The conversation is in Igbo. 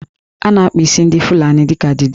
A na-akpa isi ndị Fulani dị ka Didi